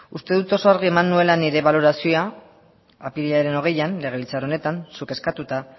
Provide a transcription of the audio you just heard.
uste dut oso argi eman nuela nire balorazioa apirilaren hogeian legebiltzar honetan zuk eskatuta